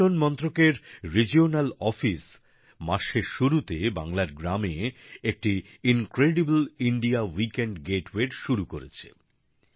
পর্যটন মন্ত্রকের আঞ্চলিক দপ্তর মাসের শুরুতে বাংলার গ্রামে একটি অতুল্য ভারত সপ্তাহান্ত গেটওয়ের শুরু করেছে